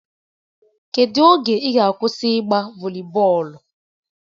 Kedu oge ị ga-akwụsị ịgba voli bọọlụ?